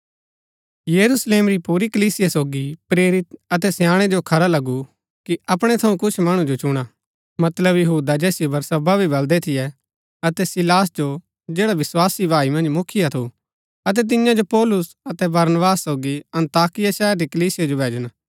यरूशलेम री पुरी कलीसिया सोगी प्रेरित अतै स्याणै जो खरा लगु कि अपणै थऊँ कुछ मणु जो चुणा मतलब यहूदा जैसिओ बरसब्बा भी बलदै थियै अतै सीलास जो जैडा विस्वासी भाई मन्ज मुखिया थु अतै तियां जो पौलुस अतै बरनबास सोगी अन्ताकिया शहर री कलीसिया जो भैजन